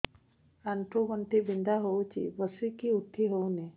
ଆଣ୍ଠୁ ଗଣ୍ଠି ବିନ୍ଧା ହଉଚି ବସିକି ଉଠି ହଉନି